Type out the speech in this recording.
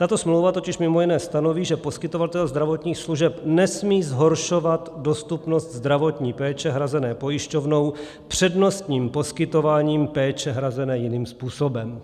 Tato smlouva totiž mimo jiné stanoví, že poskytovatel zdravotních služeb nesmí zhoršovat dostupnost zdravotní péče hrazené pojišťovnou přednostním poskytováním péče hrazené jiným způsobem.